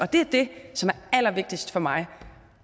det er det som er allervigtigst for mig